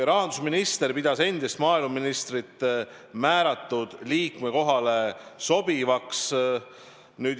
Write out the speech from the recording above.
Rahandusminister pidas endist maaeluministrit määratud liikme kohale sobivaks.